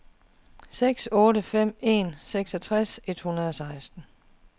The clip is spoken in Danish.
seks otte fem en seksogtres et hundrede og seksten